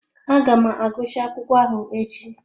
Aga m agụchaa akwụkwọ ahụ echi